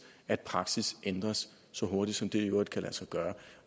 at praksis ændres så hurtigt som det i øvrigt kan lade sig gøre